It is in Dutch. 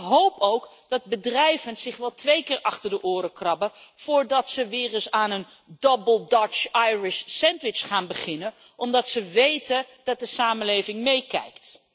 Ik hoop ook dat bedrijven zich wel twee keer achter de oren krabben voordat ze weer eens aan een Double Dutch Irish Sandwich gaan beginnen, omdat ze weten dat de samenleving meekijkt.